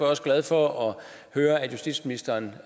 også glad for at høre at justitsministeren